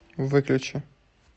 выключи